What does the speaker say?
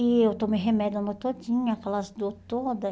E eu tomei remédio a noite todinha, aquelas dor toda.